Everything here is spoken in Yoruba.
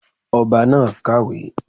Ọba náà kàwé